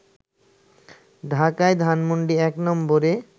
ঢাকায় ধানমণ্ডি ১ নম্বরে